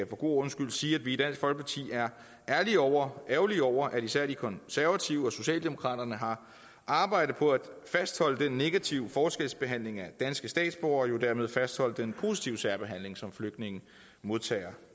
god ordens skyld sige at vi i dansk folkeparti er ærgerlige over ærgerlige over at især de konservative og socialdemokraterne har arbejdet på at fastholde den negative forskelsbehandling af danske statsborgere og jo dermed har fastholdt den positive særbehandling som flygtninge modtager